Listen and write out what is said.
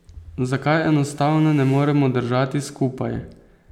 Zakaj enostavno ne moremo držati skupaj?